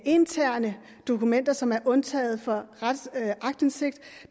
interne dokumenter som er undtaget fra aktindsigt